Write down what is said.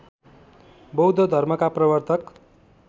बौद्ध धर्मका प्रवर्तक